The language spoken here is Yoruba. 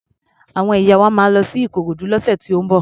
Àwọn ìyá wa máa lọ sí Ikorodu lọ́sẹ̀ tó ń bọ̀.